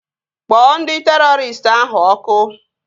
Kpọọ ndị terọristị ahụ ọkụ!